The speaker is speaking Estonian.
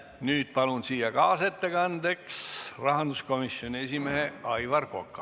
Nüüd palun siia kaasettekandjaks rahanduskomisjoni esimehe Aivar Koka.